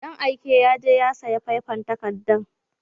Dan aike yaje ya sayi faifan takarda